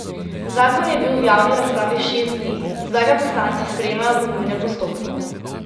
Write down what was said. Zakon je bil v javni razpravi šest dni, zdaj ga poslanci sprejemajo po nujnem postopku.